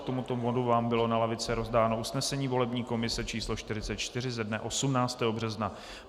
K tomuto bodu vám bylo na lavice rozdáno usnesení volební komise číslo 44 ze dne 18. března.